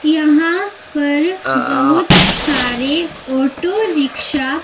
यहां पर बहुत सारे ऑटो रिक्शा --